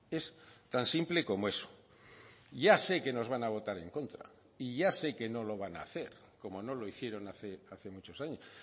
es tan simple como eso ya sé que nos van a votar en contra y ya sé que no lo van a hacer como no lo hicieron hace muchos años